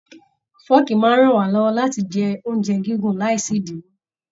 Fọọ̀kí máa n rán wá lọwọ láti jẹ oúnjẹ gígùn láì sí idiwọ.